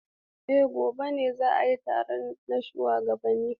Eh, gobe za a yi taro na shugabanni.